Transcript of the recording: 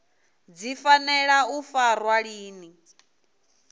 dzi fanela u farwa lini